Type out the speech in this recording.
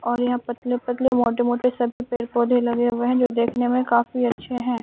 और यहा पतले पतले मोटे मोटे सभी पेड़ पौधे लगे हुए हैं जो देखने में काफी अच्छे हैं।